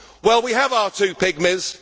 Well, we have our two pygmies.